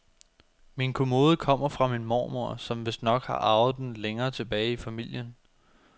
Min kommode kommer fra min mormor, som vistnok har arvet den længere tilbage i familien.